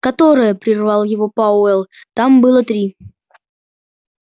которое прервал его пауэлл там было три